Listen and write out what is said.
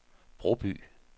Broby